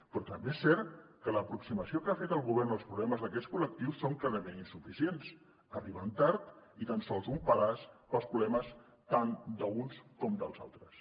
però també és cert que l’aproximació que ha fet el govern als problemes d’aquests col·lectius és clarament insuficient arriben tard i són tan sols un pedaç per als problemes tant d’uns com dels altres